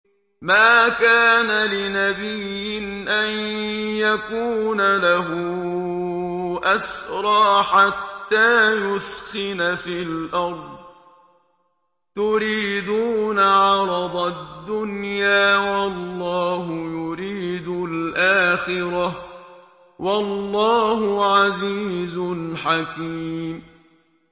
مَا كَانَ لِنَبِيٍّ أَن يَكُونَ لَهُ أَسْرَىٰ حَتَّىٰ يُثْخِنَ فِي الْأَرْضِ ۚ تُرِيدُونَ عَرَضَ الدُّنْيَا وَاللَّهُ يُرِيدُ الْآخِرَةَ ۗ وَاللَّهُ عَزِيزٌ حَكِيمٌ